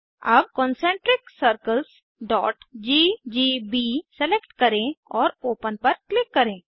अब concentriccirclesजीजीबी सेलेक्ट करें और ओपन पर क्लिक करें